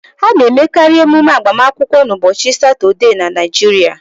A na-emekari emume agbamakwụkwọ n'ụbọchị Satọde na Naịjirịa